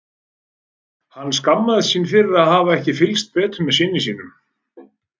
Hann skammaðist sín fyrir að hafa ekki fylgst betur með syni sínum.